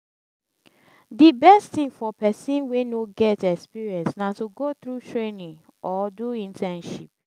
di best thing for persin wey no get experience na to go through training or do internship